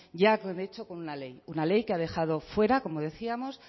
ya de hecho con una ley una ley que ha dejado fuera como decíamos